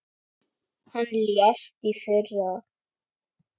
Hann lést í fyrra.